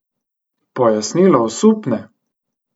Pojasnilo osupne!